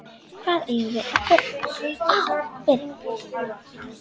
Hvar eigum við að byrja?